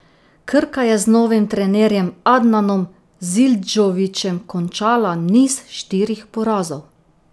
Krka je z novim trenerjem Adnanom Zildžovićem končala niz štirih porazov.